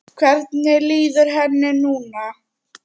Hvernig líður henni núna?